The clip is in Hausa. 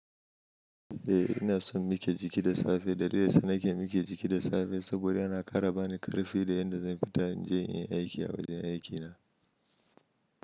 Eh ina son mike jiki da safe. Dalilin sun mike jiki da safe, saboda yana ƙara bani ƙarfi da yadda zan fita in je in yi aiki a wajen aikina.